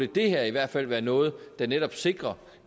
det her i hvert fald være noget der netop sikrer